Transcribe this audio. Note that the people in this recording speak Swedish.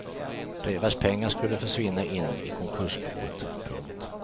Deras pengar skulle försvinna in i konkursboet. punkt